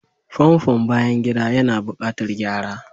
Famfon bayan gida yana buƙatar gyara.